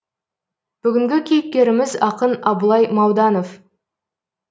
бүгінгі кейіпкеріміз ақын абылай мауданов